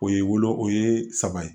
O ye wolo o ye saba ye